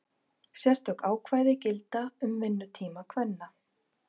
Sérstök ákvæði gilda um vinnutíma kvenna.